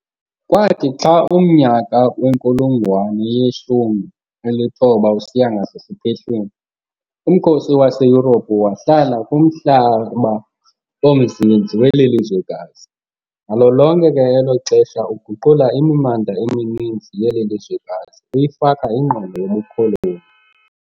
Kwathi xa umnyaka wenkulungwane yeshumi elithoba usiya ngasesipehlweni, umkhosi waseYurophu wahlala kumhlaba omnzinzi weli lizwekazi, nalo lonke ke elo xesha uguqula imimandla emininzi yeli lizwekazi uyifaka ingqondo yobukoloni.